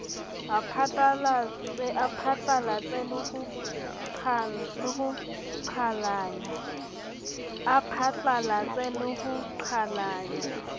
a phatlalatse le ho qhalanya